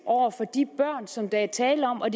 de børn som der er tale om og